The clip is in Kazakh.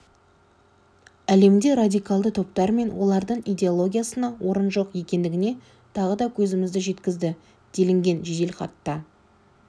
әлемде радикалды топтар мен олардың идеологиясына орын жоқ екеніне тағы да көзімізді жеткізді делінген жеделхатта